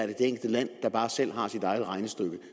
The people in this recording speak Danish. det enkelte land der bare selv har sit eget regnestykke